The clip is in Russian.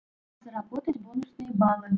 заработать бонусные баллы